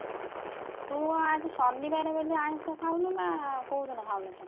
ହୁଁ ତୁ ଆଜି ଶନି ବାରେ ବୋଲି ଆଇଂଷ ଖାଉନୁ ନା କୋଉଦିନ ଖାଉନୁ ତୁ?